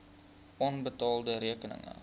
onbetaalde rekeninge